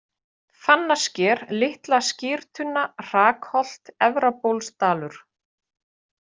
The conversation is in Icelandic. Fannasker, Litla-Skyrtunna, Hrakholt, Efrabólsdalur